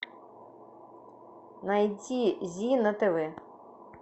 найти зи на тв